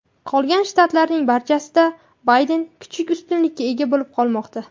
Qolgan shtatlarning barchasida Bayden kichik ustunlikka ega bo‘lib qolmoqda.